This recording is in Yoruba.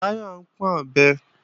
Báyọ̀ ń pọ́n ọ̀bẹ